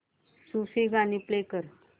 सूफी गाणी प्ले कर